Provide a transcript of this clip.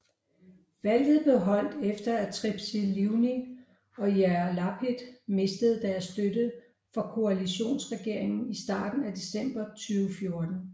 Valget blev holdt efter at Tzipi Livni og Yair Lapid mistede deres støtte fra koalitionsregeringen i starten af december 2014